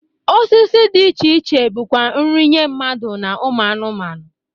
Osisi dị iche iche bụkwa nri nye mmadụ na ụmụ anụmanụ.